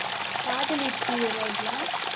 காதலிக்கிறீர்களா?